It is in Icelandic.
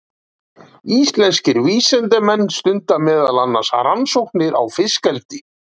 Íslenskir vísindamenn stunda meðal annars rannsóknir á fiskeldi.